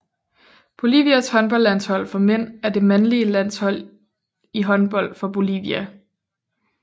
Bolivias håndboldlandshold for mænd er det mandlige landshold i håndbold for Bolivia